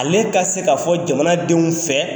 Ale ka se ka fɔ jamanadenw fɛ